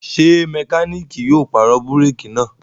Ṣé mẹkáníkì yóò pàrọ̀ búrékì náà?